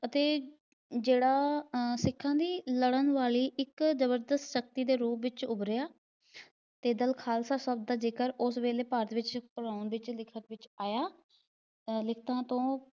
ਅਤੇ ਜਿਹੜਾ ਆਹ ਸਿੱਖਾਂ ਦੀ ਲੜਨ ਵਾਲੀ ਇੱਕ ਜਬਰਦਸਤ ਸਕਤੀ ਦੇ ਰੂਪ ਦੇ ਵਿਚ ਉਭਰਿਆ ਤੇ ਦਲ ਖਾਲਸਾ ਸਬਦ ਦਾ ਜਿਕਰ ਉਸ ਵੇਲੇ ਭਾਰਤ ਵਿਚ ਵਿਚ ਲਿਖਤ ਵਿਚ ਆਇਆ। ਲਿਖਤਾਂ ਤੋਂ